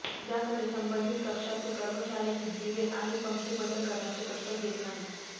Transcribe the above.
याकडे संबंधित कक्षातील कर्मचारीही दिवे आणि पंखे बंद करण्याचे कष्ट घेत नाहीत